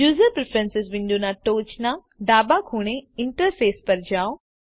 user preferences વિન્ડોના ટોચના ડાબા ખૂણે ઇન્ટરફેસ પર જાઓ